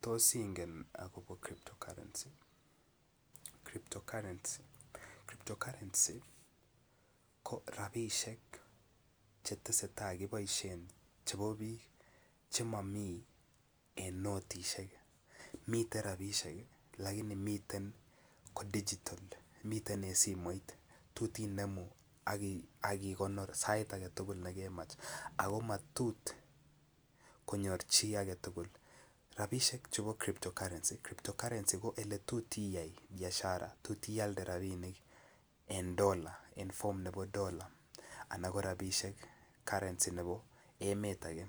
Tos ingen ne agobo crypto currency, crypto currency ko rabisiek Che tesetai keboisien chebo bik Che mo miten en notisiek miten rabisiek ii lakini ko digital miten en simoit tot inemu ak igonor sait age tugul ne kemach ako matot konyor chi age tugul rabisiek chebo crypto currency ko ole tot Biashara tot ialde rabisiek en dolaisiek en ko rabisiek currency nebo emet age